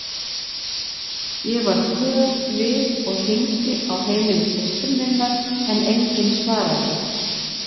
Ég varð glöð við og hringdi á heimili systur minnar en enginn svaraði.